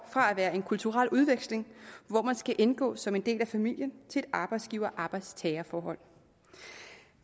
fra at være en kulturel udveksling hvor man skal indgå som en del af familien til et arbejdsgiver arbejdstager forhold